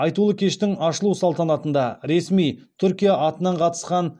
айтулы кештің ашылу салтанатында ресми түркия атынан қатысқан